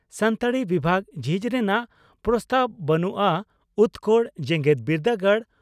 ᱥᱟᱱᱛᱟᱲᱤ ᱵᱤᱵᱷᱟᱜᱽ ᱡᱷᱤᱡ ᱨᱮᱱᱟᱜ ᱯᱨᱚᱥᱛᱟᱵᱽ ᱵᱟᱹᱱᱩᱜᱼᱟ ᱩᱛᱠᱚᱲ ᱡᱮᱜᱮᱛ ᱵᱤᱨᱫᱟᱹᱜᱟᱲ